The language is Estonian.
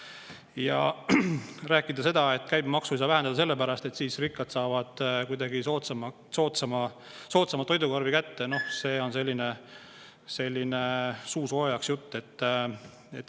Ja rääkida seda, et käibemaksu ei saa vähendada sellepärast, et siis rikkad saavad kuidagi soodsamalt toidukorvi kätte – noh, see on selline suusoojaks jutt.